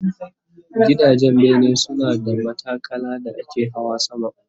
Gidajen bene suna da matakala da ake Hawa sama